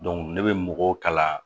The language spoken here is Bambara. ne bɛ mɔgɔw kalan